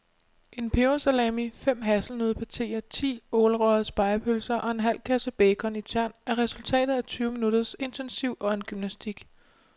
En pebersalami, fem hasselnøddepateer, ti ålerøgede spegepølser og en halv kasse bacon i tern er resultatet af tyve minutters intensiv øjengymnastik.